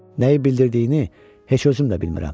Nəyi bildirdiyini heç özüm də bilmirəm.